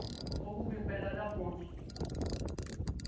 Eu digo, eu vou cobrir um pedaço da ponte.